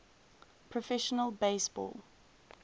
professional base ball